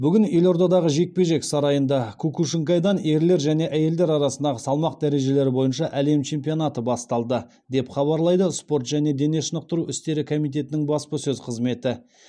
бүгін елордадағы жекпе жек сарайында кукушинкайдан ерлер және әйелдер арасында салмақ дәрежелері бойынша әлем чемпионатыны басталды деп хабарлайды спорт және дене шынықтыру істері комитетінің баспасөз қызметі